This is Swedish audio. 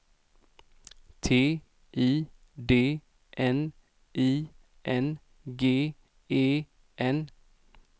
T I D N I N G E N